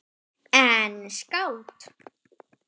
En skáld?